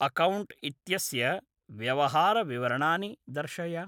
Account इत्यस्य व्यवहारविवरणानि दर्शय।